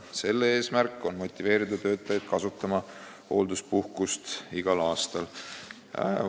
Selle eesmärk on motiveerida töötajaid kasutama hoolduspuhkust igal aastal.